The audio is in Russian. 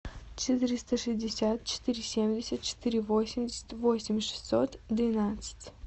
четыреста шестьдесят четыре семьдесят четыре восемьдесят восемь шестьсот двенадцать